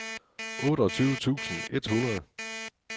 otteogtyve tusind et hundrede